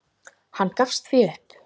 Hann gafst því upp.